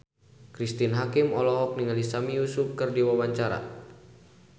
Cristine Hakim olohok ningali Sami Yusuf keur diwawancara